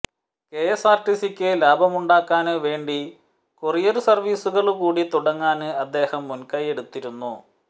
കെഎസ്ആര്ടിസിക്ക് ലാഭമുണ്ടാക്കാന് വേണ്ടി കൊറിയര് സര്വീസുകള് കൂടി തുടങ്ങാന് അദ്ദേഹം മുന്കൈയെടുത്തിരുന്നു